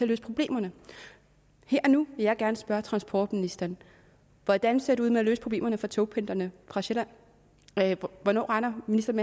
løse problemerne her og nu vil jeg gerne spørge transportministeren hvordan ser det ud med at løse problemerne for togpendlerne fra sjælland hvornår regner ministeren